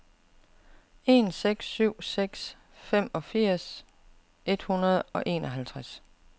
en seks syv seks femogfirs et hundrede og enoghalvtreds